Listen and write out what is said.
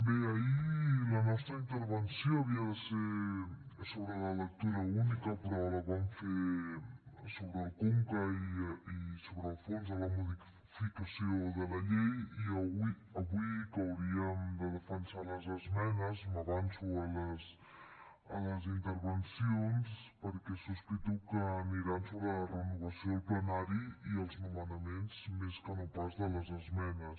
bé ahir la nostra intervenció havia de ser sobre la lectura única però la vam fer sobre el conca i sobre el fons de la modificació de la llei i avui que hauríem de defensar les esmenes m’avanço a les intervencions perquè sospito que aniran sobre la renovació del plenari i els nomenaments més que no pas de les esmenes